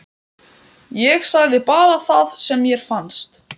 Ég sagði bara það sem mér fannst.